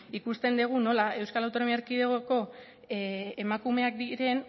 ikusten dugu nola euskal autonomia erkidegoko emakumean diren